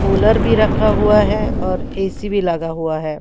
Cooler भी रखा हुआ है और ए_ सी भी लगा हुआ है।